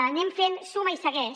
anem fent suma i segueix